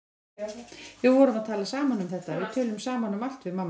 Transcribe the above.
Við vorum að tala saman um þetta, við tölum saman um allt við mamma.